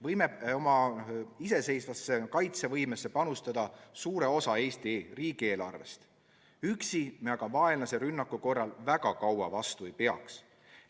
Võime oma iseseisvasse kaitsevõimesse panustada suure osa Eesti riigieelarvest, aga üksi me vaenlase rünnaku korral väga kaua vastu ei peaks.